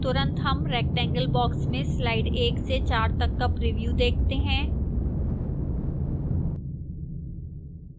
तुरंत हम rectangle box में slide 1 से 4 तक का प्रिव्यू देखते हैं